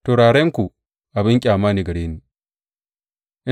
Turarenku abin ƙyama ne gare ni.